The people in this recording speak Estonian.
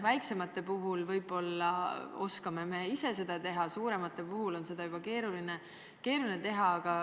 Väiksemate puhul oskame seda võib-olla ise teha, aga suuremate puhul on see juba keeruline.